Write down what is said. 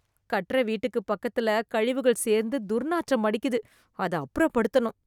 கட்டற வீட்டுக்கு பக்கத்துல கழிவுகள் சேர்ந்து துர்நாற்றம் அடிக்குது, அத அப்புறப்படுத்தனும்.